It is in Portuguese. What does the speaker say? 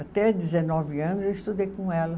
Até dezenove anos eu estudei com ela.